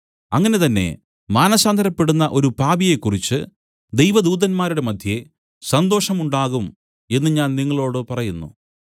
അങ്ങനെ തന്നെ മാനസാന്തരപ്പെടുന്ന ഒരു പാപിയെക്കുറിച്ചു ദൈവദൂതന്മാരുടെ മദ്ധ്യേ സന്തോഷം ഉണ്ടാകും എന്നു ഞാൻ നിങ്ങളോടു പറയുന്നു